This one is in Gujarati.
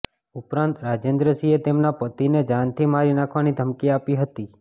ઉપરાંત રાજેન્દ્રસિંહે તેમના પતિને જાનથી મારી નાખવાની ધમકી આપી હતી